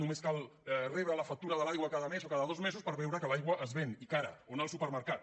només cal rebre la factura de l’aigua cada mes o cada dos mesos per veure que l’aigua es ven i cara o anar al supermercat